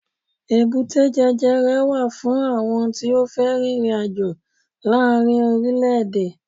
èbúté jẹjẹrẹ wa fún àwọn tí o fe ririnajo laarin orilẹ ede